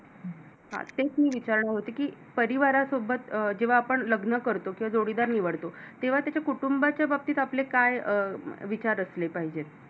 हां तेच मी विचारणार होते की परिवारासोबत जेव्हा आपण लग्न करतो किंवा जोडीदार निवडतो तेव्हा त्याच्या कुटुंबाच्या बाबतीत आपले काय विचार असले पाहिजेत.